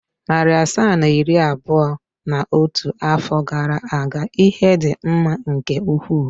Narị asaa na iri abụọ na otu afọ gara aga ihe dị mma nke ukwuu.